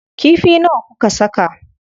Kifi nawa kuka saka?